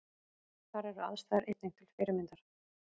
Þar eru aðstæður einnig til fyrirmyndar